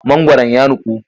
Mangwaron ya nuku.